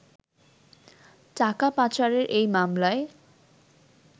টাকা পাচারের এই মামলায়